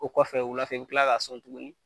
O kɔfɛ wulafɛ i bi kila k'a sɔn tuguni.